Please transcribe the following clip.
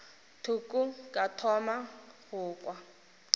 thoko ka thoma go kwa